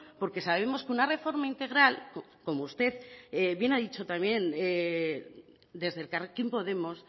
porque sabemos que una reforma integral como usted bien ha dicho también desde elkarrekin podemos